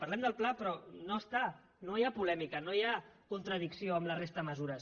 parlem del pla però no hi ha polèmica no hi ha contradicció amb la resta de mesures